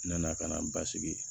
N nana ka na n basigi